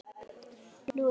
Nú eða aldrei.